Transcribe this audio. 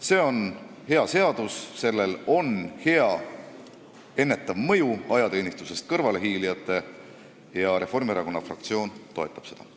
See on hea seadus, sellel on hea ennetav mõju ajateenistusest kõrvalehiilijatele ja Reformierakonna fraktsioon toetab seda.